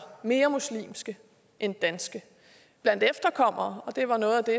mere muslimske end danske blandt efterkommere og det var noget af det